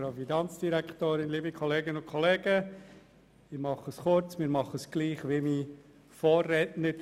Wir sind der gleichen Meinung wie mein Vorredner.